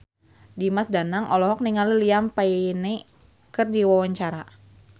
Dimas Danang olohok ningali Liam Payne keur diwawancara